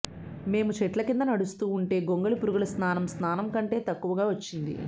మేము చెట్ల క్రింద నడుస్తూ ఉంటే గొంగళి పురుగుల స్నానం స్నానం కంటే తక్కువగా వచ్చింది